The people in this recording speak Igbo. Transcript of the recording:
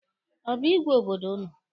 Ọ bụ igwe obodo ụnụ?